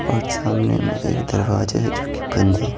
और सामने में एक दरवाजा है जो कि बंद है।